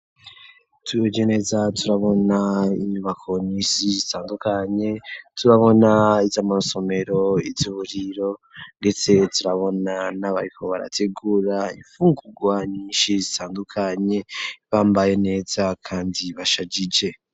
Turugeneza turabona ibakonisi zitandukanye turabona iz'amasomero izuburiro ndetse turabona n'abayiko barategura ifungurwa nyinshi zitandukanye bambaye neza kandi bashagije.